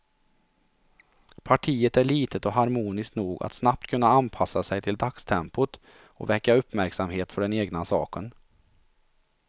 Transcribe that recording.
Partiet är litet och harmoniskt nog att snabbt kunna anpassa sig till dagstempot och väcka uppmärksamhet för den egna saken.